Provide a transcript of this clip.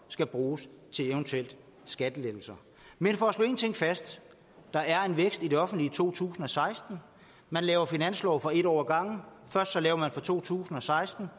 skal bruges til eventuelle skattelettelser men for at slå en ting fast der er en vækst i det offentlige i to tusind og seksten man laver finanslov for en år ad gangen først laver man for to tusind og seksten